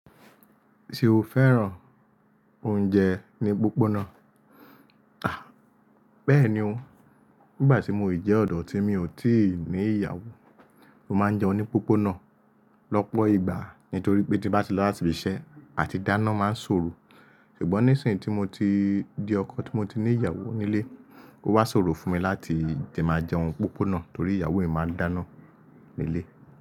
Ṣé o fẹ́ràn oúnjẹ ní pópóná? Àh! Bẹ́ẹ̀ni o. Nígbà tí mo si jẹ́ ọ̀dọ́ tí mi ò tíì ní ìyàwó, mo máa ń jẹun ní pópóná lọ́pọ̀ ìgbà nítorí pé tí bá ti lọ láti ibi iṣẹ́ a ti dáná máa ń ṣòro. Ṣùgbọ́n nísìnyí tí mo ti di ọkọ, tí mo ti ní ìyàwó nílé, ó wá ṣòro fún mi láti jẹ máa jẹun pópóná torí ìyàwó mi máa dáná nílé.